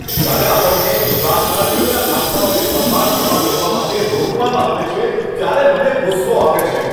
જ્યારે આપણને રાજકારણીઓના કાફલાઓને પસાર થવા દેવા માટે રોકવામાં આવે છે ત્યારે મને ગુસ્સો આવે છે.